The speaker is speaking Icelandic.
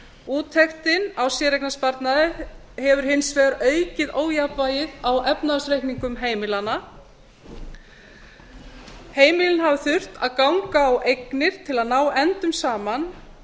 úttektin á séreignarsparnaði hefur hins vegar aukið ójafnvægið á efnahagsreikningum heimilanna heimilin hafa þurft að ganga á eignir til að ná endum saman